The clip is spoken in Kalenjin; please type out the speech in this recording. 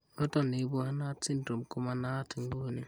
Noton ne ibu Hanhart syndrome koma naat ing'uni.